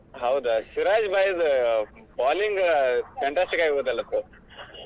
ಹೌದು ಸಿರಾಜ್ भाई the bowling fantastic ಆಗಿ ಹೋಯಿತಲ್ ಆವತ್ತು?